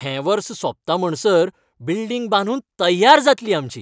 हें वर्स सोंपता म्हणसर बिल्डिंग बांदून तय्यार जातली आमची.